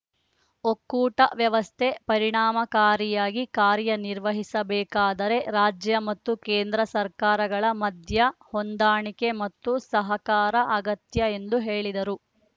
ಒಕ್ಕೂಟ ವ್ಯವಸ್ಥೆ ಪರಿಣಾಮಕಾರಿಯಾಗಿ ಕಾರ್ಯನಿರ್ವಹಿಸಬೇಕಾದರೆ ರಾಜ್ಯ ಮತ್ತು ಕೇಂದ್ರ ಸರ್ಕಾರಗಳ ಮಧ್ಯ ಹೊಂದಾಣಿಕೆ ಮತ್ತು ಸಹಕಾರ ಅಗತ್ಯ ಎಂದು ಹೇಳಿದರು